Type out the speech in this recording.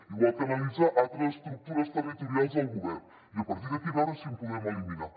igual que analitzar altres estructures territorials del govern i a partir d’aquí veure si en podem eliminar